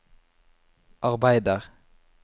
arbeider